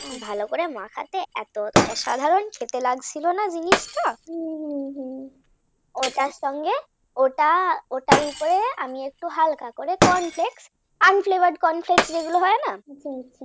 ভালো করে মাখাতে এত অসাধারণ খেতে লাগছিল না জিনিসটা ওটার সঙ্গে ওটা ওটার উপরে হালকা করে corn flake sunflower corn flakes যেগুলো হয় না